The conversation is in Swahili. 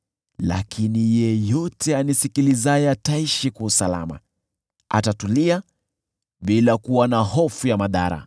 Lakini yeyote anisikilizaye ataishi kwa usalama, atatulia, bila kuwa na hofu ya madhara.”